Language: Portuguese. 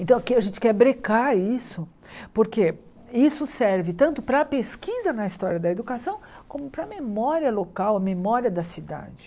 Então, aqui a gente quer brecar isso, porque isso serve tanto para a pesquisa na história da educação, como para a memória local, a memória da cidade.